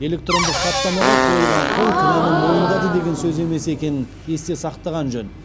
электрондық хаттамаға қойылған қол кінәні мойындады деген сөз емес екенін есте сақтаған жөн